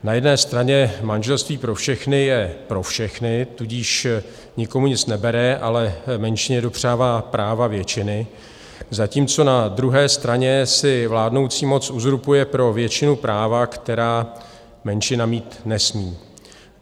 Na jedné straně manželství pro všechny je pro všechny, tudíž nikomu nic nebere, ale menšině dopřává práva většiny, zatímco na druhé straně si vládnoucí moc uzurpuje pro většinu práva, která menšina mít nesmí.